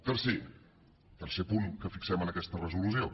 tercer tercer punt que fixem en aquesta resolució